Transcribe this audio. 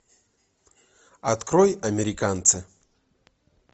открой американцы